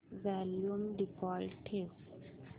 volume default ठेव